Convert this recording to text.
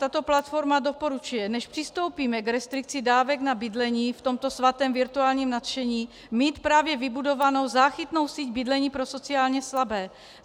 Tato platforma doporučuje, než přistoupíme k restrikci dávek na bydlení v tomto svatém virtuálním nadšení, mít právě vybudovanou záchytnou síť bydlení pro sociálně slabé.